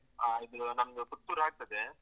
ಹಾ, ಇದು ನಮ್ದು ಪುತ್ತೂರಾಗ್ತದೆ.